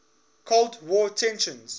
cold war tensions